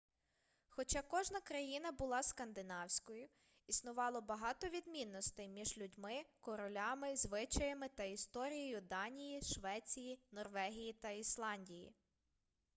хоча кожна країна була скандинавською' існувало багато відмінностей між людьми королями звичаями та історією данії швеції норвегії та ісландії